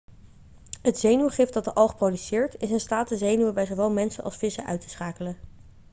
het zenuwgif dat de alg produceert is in staat de zenuwen bij zowel mensen als vissen uit te uitschakelen